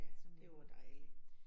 Ja, det var dejligt